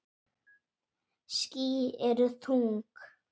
Ský eru þung.